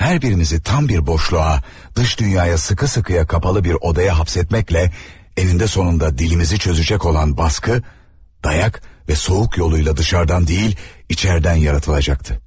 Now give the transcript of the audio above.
Her birimizi tam bir boşluğa, dış dünyaya sıkı sıkıya kapalı bir odaya hapsetmekle eninde sonunda dilimizi çözecek olan baskı dayak ve soğuk yoluyla dışarıdan değil içeriden yaratılacaktı.